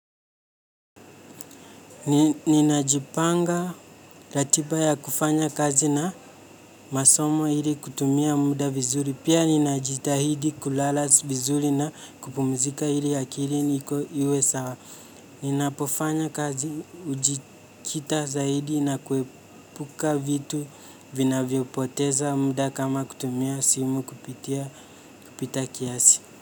Ninajipanga ratiba ya kufanya kazi na masomo ili kutumia muda vizuri. Pia ninajitahidi kulala vizuri na kupumzika ili akili niko iwe sawa ninapofanya kazi ujikita zaidi na kuepuka vitu vinavyopoteza muda kama kutumia simu kupitia kupita kiasi.